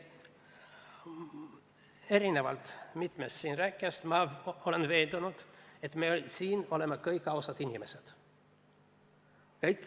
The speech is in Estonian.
Erinevalt mitmest siin rääkinust ma olen veendunud, et me oleme kõik ausad inimesed.